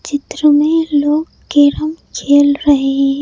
चित्र में लोग केराम खेल रहे हैं।